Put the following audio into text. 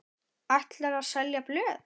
Ætlarðu að selja blöð?